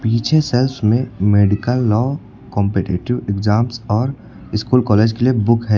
पीछे शेल्फ में medical law competitive exams और स्कूल कॉलेज के लिए बुक है।